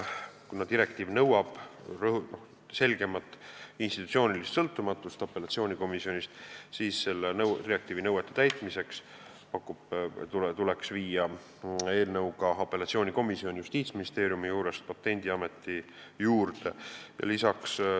Kuna direktiiv nõuab apellatsioonikomisjonis selgemat institutsioonilist sõltumatust, siis selle direktiivi nõuete täitmiseks tuleks eelnõuga viia apellatsioonikomisjon Justiitsministeeriumi juurest Patendiameti juurde.